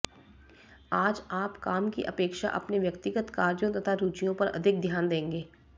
आज आप काम की अपेक्षा अपने व्यक्तिगत कार्यों तथा रुचियो पर अधिक ध्यान देंगे